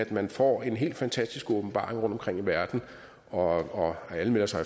man får en helt fantastisk åbenbaring rundtomkring i verden og alle melder sig